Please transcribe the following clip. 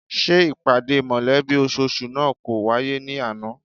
Ṣé ìpàdé mọ̀lẹ́bí ososù náà kò wáyé ní àná?